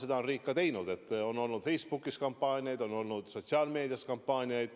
Seda on riik ka teinud, et on olnud Facebookis kampaaniaid, on olnud sotsiaalmeedias kampaaniaid.